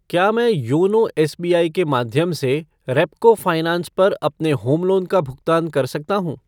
क्या मैं YONO SBI के माध्यम से रेपको फ़ाइनेंस पर अपने होम लोन का भुगतान कर सकता हूँ?